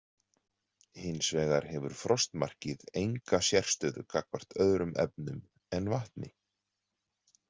Hins vegar hefur frostmarkið enga sérstöðu gagnvart öðrum efnum en vatni.